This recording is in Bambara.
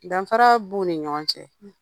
Danfara b'u ni ɲɔgɔn cɛ